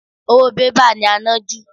Owó bébà ni à ń ná jù